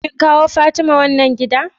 kin kawo Fatima wannan giɗa?